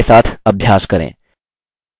इस लेवल के साथ अभ्यास करें